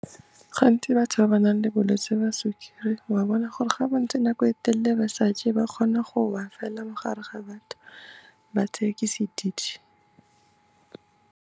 Gantsi batho ba ba nang le bolwetse ba sukiri wa bona gore ga ba ntse nako e telele ba sa je, ba kgona go wa fela mo gare ga batho, ba tseiwe ke sedidi.